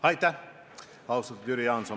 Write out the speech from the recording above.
Aitäh, austatud Jüri Jaanson!